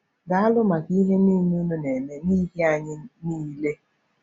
“Daalụ maka ihe niile unu na-eme n’ihi anyị niile.